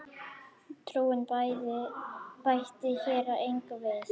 Trúin bæti hér engu við.